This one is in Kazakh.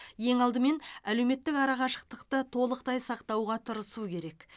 ең алдымен әлеуметтік арақашықтықты толықтай сақтауға тырысу керек